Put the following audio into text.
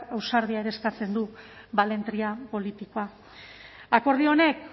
ausardia ere eskatzen du balentria politikoa akordio honek